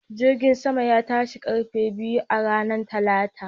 Jirgin saman ya tashi ƙarfe biyu a ranar Talata